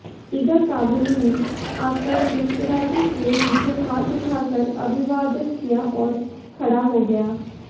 इधर काबुली ने आकर मुस्कराते हुए मुझे हाथ उठाकर अभिवादन किया और खड़ा हो गया